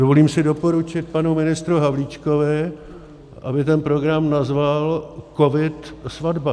Dovolím si doporučit panu ministru Havlíčkovi, aby ten program nazval Covid-Svatba.